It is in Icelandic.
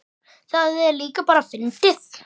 Það er líka bara fyndið.